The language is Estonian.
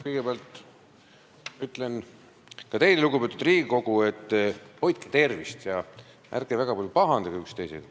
Kõigepealt ütlen ka teile, lugupeetud Riigikogu, et hoidke tervist ja ärge väga palju üksteisega pahandage.